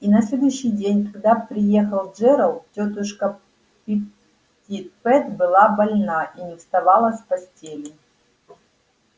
и на следующий день когда приехал джералд тётушка питтипэт была больна и не вставала с постели